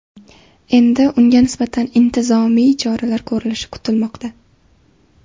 Endi unga nisbatan intizomiy choralar ko‘rilishi kutilmoqda.